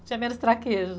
Tinha menos traquejo.